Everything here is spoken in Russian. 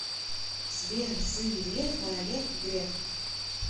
сбер сын грефа олег греф